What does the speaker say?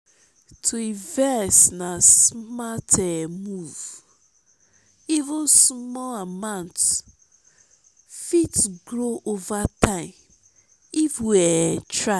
to invest na smart um move; even small amount fit grow over time if we um try.